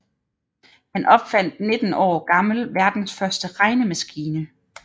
Han opfandt 19 år gammel verdens første regnemaskine